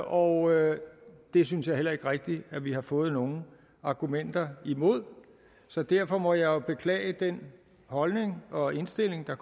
og det synes jeg heller ikke rigtig at vi har fået nogen argumenter imod så derfor må jeg jo beklage den holdning og indstilling der